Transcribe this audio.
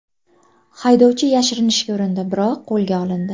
Haydovchi yashirinishga urindi, biroq qo‘lga olindi.